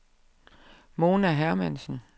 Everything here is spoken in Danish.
Mona Hermansen